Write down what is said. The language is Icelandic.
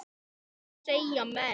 Hvað segja menn?